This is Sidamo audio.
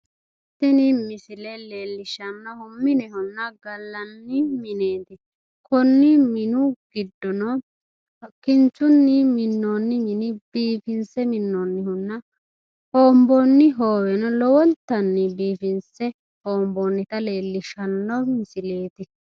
Tini misile leellishshannohu minehonna gallanni mineeti. Konni mini giddono kinchunnu minnoonni mini biifinse minnoonnihunna hoomboonni hooweno lowontanni biifinse hoomboonnita leellishshanno misileeti.